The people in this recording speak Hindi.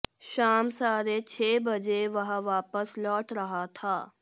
शाम साढ़े छह बजे वह वापस लौट रहा था